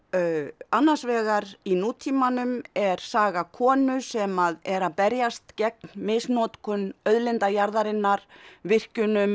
annars vegar í nútímanum er saga konu sem er að berjast gegn misnotkun auðlinda jarðarinnar virkjunum